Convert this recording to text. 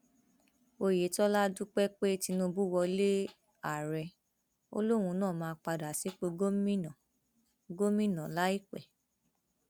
oyetola dúpẹ pé tinubu wọlé ààrẹ ó lòun náà máa padà sípò gómìnà gómìnà láìpẹ